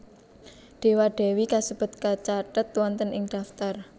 Dewa Dewi kasebut kacathet wonten ing daftar